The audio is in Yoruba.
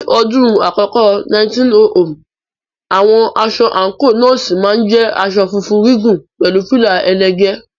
Ní ọdún àkọ́kọ́ 1900, àwọn aṣọ àǹkóò Nọ́ọ̀sì máa ń jẹ́ aṣọ funfun gígùn pẹ̀lú fìlà ẹlẹ́gẹ̀ẹ́.